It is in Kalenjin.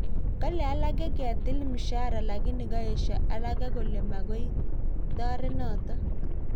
Kale alake ketil mshahara lakini kaesyo alege kole magoi taret noto